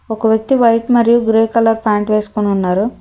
ఒక వ్యక్తి వైట్ మరియు గ్రే కలర్ ప్యాంట్ వేసుకొని ఉన్నారు.